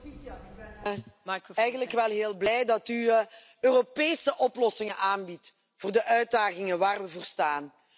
Voorzitter, ik ben heel blij dat u Europese oplossingen aanbiedt voor de uitdagingen waar we voor staan.